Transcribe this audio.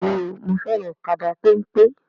Bẹ́ẹ̀ni o, mo fẹ́ràn kaba pẹ́npẹ́?